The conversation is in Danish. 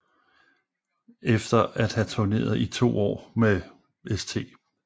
Efter at have turneret i to år med St